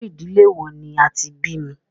Irú ìdílé wò ní a tí bí mí?